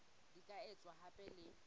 di ka etswa hape le